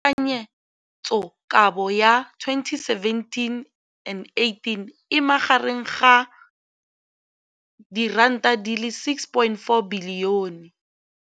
Infleišene, mme tekanyetsokabo ya 2017, 18, e magareng ga R6.4 bilione.